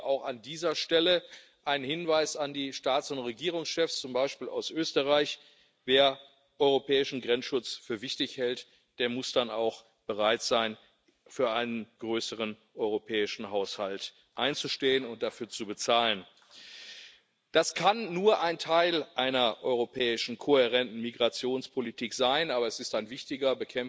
Deswegen auch an dieser Stelle ein Hinweis an die Staats— und Regierungschefs zum Beispiel aus Österreich Wer europäischen Grenzschutz für wichtig hält, der muss dann auch bereit sein, für einen größeren europäischen Haushalt einzustehen und dafür zu bezahlen. Das kann nur ein Teil einer europäischen kohärenten Migrationspolitik sein, aber es ist ein wichtiger.